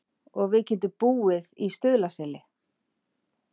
Og við getum búið í Stuðlaseli.